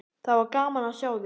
Það var gaman að sjá þig!